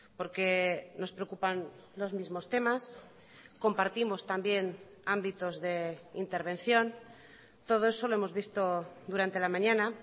porque nos preocupan los mismos temas compartimos también ámbitos de intervención todo eso lo hemos visto durante la mañana